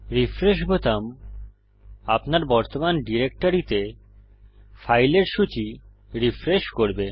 refresh বোতাম আপনার বর্তমান ডিরেক্টরিতে ফাইলের সূচী রিফ্রেশ করবে